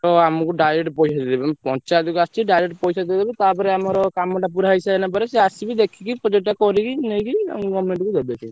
ଆମକୁ direct ପଇସା ଦେଇଦେବେ ପଞ୍ଚାୟତ କୁ ଆସିଛି direct ପଇସା ଦେଇଦେବେ ତାପରେ ଆମର କାମ ଟା ପୁରା ହେଇସାରିଲା ପରେ ସିଏ ଆସିକି ଦେଖିକି project ଟା କରିକି ନେଇକି ଆମକୁ government କୁ ଦେବେ ସିଏ।